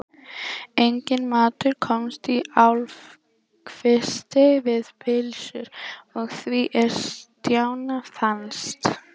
Enginn matur komst í hálfkvisti við pylsur að því er Stjána fannst.